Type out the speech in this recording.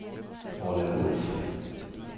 Orla Wulff